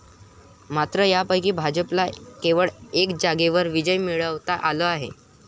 मात्र त्यापैकी भाजपला केवळ एका जागेवर विजय मिळवता आला आहे.